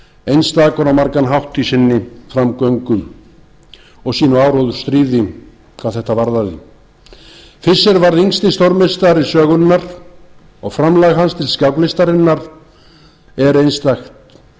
einstakur á margan hátt í sinni framgöngu og sínu áróðursstríði hvað þetta varðaði fischer varð yngsti stórmeistari sögunnar og framlag hans til skáklistarinnar var einstakt